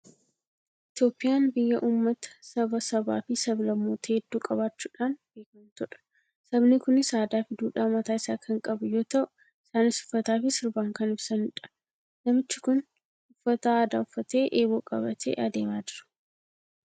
Itoophiyaan biyya uummata, saba, sabaa fi sablammoota hedduu qabaachuudhaan beekamtudha. Sabni kunis aadaa fi duudhaa mataa isaa kan qabu yoo ta'u, isaaniis uffataa fi sirbaan kan ibsanidha. Namichi kun uffata aadaa uffatee, eeboo qabatee adeemaa jira.